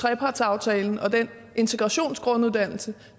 trepartsaftalen og den integrationsgrunduddannelse